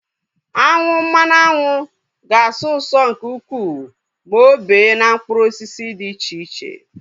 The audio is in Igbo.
Aṅụ mmanụ aṅụ ga-asọ ụso nke ukwuu ma o bee na mkpụrụ osisi dị iche iche